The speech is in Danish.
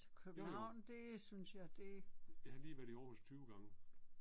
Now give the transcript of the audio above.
Jo jo. Jeg har lige været i Aarhus 20 gange